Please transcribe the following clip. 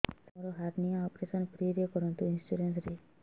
ସାର ମୋର hernia operation free ରେ କରନ୍ତୁ ଇନ୍ସୁରେନ୍ସ ରେ